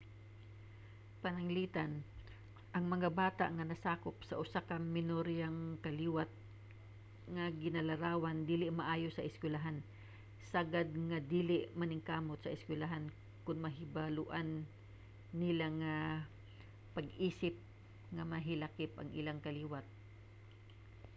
pananglitan ang mga bata nga nasakop sa usa ka minoriyang kaliwat nga ginalarawang dili maayo sa eskwelahan sagad nga dili maningkamot sa eskwelahan kon mahibaloan nila ang pag-isip nga nahilakip sa ilang kaliwat